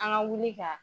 An ka wuli ka